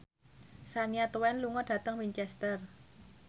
Shania Twain lunga dhateng Winchester